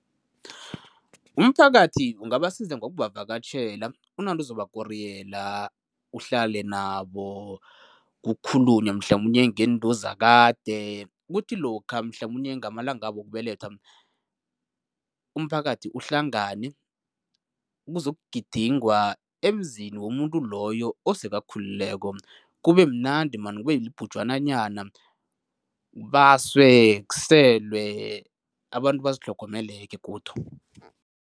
Umphakathi ungabasiza ngokubavakatjhela, unande uzobakoriyela, uhlale nabo, kukhulunywe mhlamunye ngento zakade. Kuthi lokha mhlamunye ngamalangabo wokubelethwa, umphakathi uhlangane, kuzokugidingwa emzini womuntu loyo osekakhulileko, kubemnandi man kube libhujwananyana, kubaswe, kuselwe, abantu bazitlhogomele-ke godu.